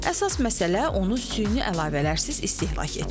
Əsas məsələ onu süni əlavələrsiz istehlak etməkdir.